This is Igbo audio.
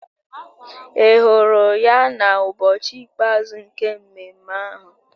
Ị hụrụ ya n'ụbọchị ikpeazụ nke mmemme ahụ?